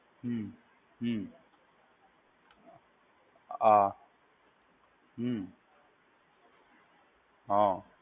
હમ્મ હમ્મ હા હમ્મ હા.